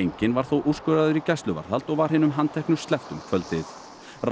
enginn var þó úrskurðaður í gæsluvarðhald og var hinum handteknu sleppt um kvöldið